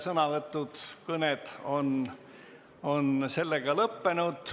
Sõnavõtud, kõned on sellega lõppenud.